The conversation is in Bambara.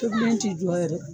Tobilen ti jɔ yɛrɛ.